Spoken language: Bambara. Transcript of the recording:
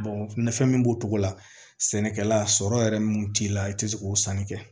nafa min b'o cogo la sɛnɛkɛla sɔrɔ yɛrɛ mun t'i la i tɛ se k'o sanni kɛ